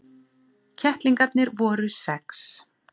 Kettlingarnir voru sex.